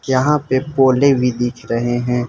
यहां पे पौधे भी दिख रहे हैं।